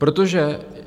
Protože...